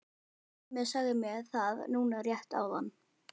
Simmi sagði mér það núna rétt áðan.